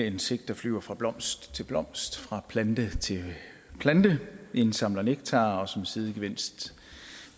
insekter flyver fra blomst til blomst fra plante til plante indsamler nektar og som sidegevinst